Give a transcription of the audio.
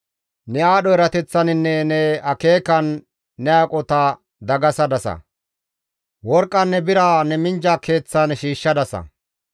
Ne aadho erateththaninne ne akeekan ne aqota dagasadasa; worqqanne bira ne minjja keeththan shiishshadasa.